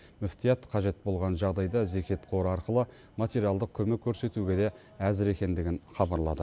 мүфтият қажет болған жағдайда зекет қоры арқылы материалдық көмек көрсетуге де әзір екендігін хабарлады